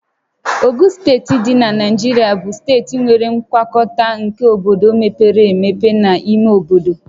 Ogun Steeti dị na Naijiria bụ steeti nwere ngwakọta nke obodo mepere emepe na ime obodo